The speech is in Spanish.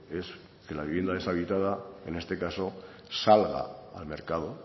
es que la vivienda deshabitada en este caso salga al mercado